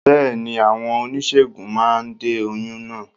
Bẹ́ẹ̀ni, àwọn oníṣègùn máa de oyún náà